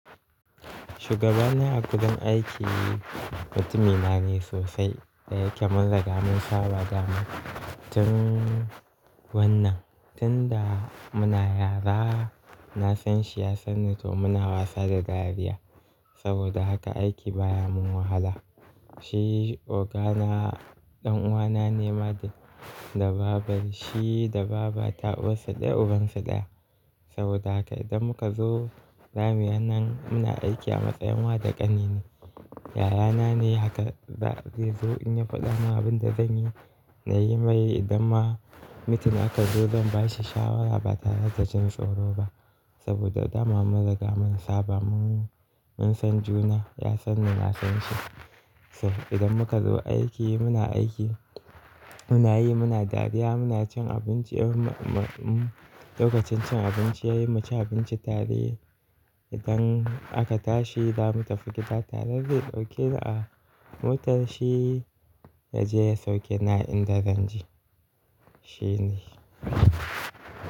Shugabana a wurin aiki mutumi na ne sosai da yake munrigsga mun saba dama tun wannan. Tun da muna yara na san shi, ya san ni to muna wasa da dariya. Saboda haka aiki baya mun wahala. Shi ogana ɗan'uwana ne ma da babar shi da baba ta uwarsu dayauban su ɗaya. Saboda haka idan muka zo zamuyi wannan muna aiki a matsayin wa da ƙani ne. Yara na ne haka za zai zo in ya faɗa mun abinda zan yi na yi mai idan ma mitim aka zo zan bashi shawara ba tare da jin tsoro ba. Saboda dama mun riga mun saba mun san juna ya san ni, na san shi. To idan muka zo aiki muna aiki muna yi muna dariya muna cin abinci. Lokacin cin abinci yayi mu ci abinci tare idan aka tashi zamu tafi gida tare zai ɗauke ni a motar shi ya je ya sauke ni a inda zan je. Shi ne.